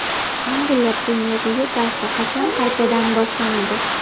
Angliya Premyer Ligasi qachon qaytadan boshlanadi?